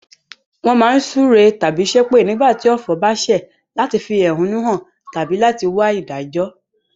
Won má n súre tábí sépè nígbàtí ọ̀fọ̀ ba sẹ̀ láti fi ẹ̀húnú han tábí láti wa ìdájó